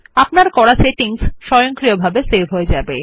আপনার সেটিংস স্বয়ংক্রিয়ভাবে সেভ হয়ে যাবে